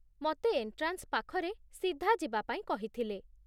ମୋତେ ଏଣ୍ଟ୍ରାନ୍ସ ପାଖରେ ସିଧା ଯିବାପାଇଁ କହିଥିଲେ